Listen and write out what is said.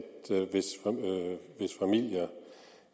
hvis familier